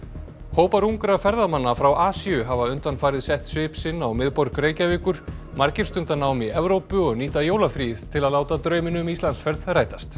hópar ungra ferðamanna frá Asíu hafa undanfarið sett svip sinn á miðborg Reykjavíkur margir stunda nám í Evrópu og nýta jólafríið til að láta drauminn um Íslandsferð rætast